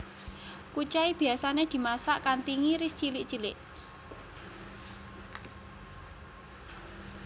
Kucai biyasané dimasak kanthi ngiris cilik cilik